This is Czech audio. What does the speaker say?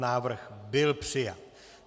Návrh byl přijat.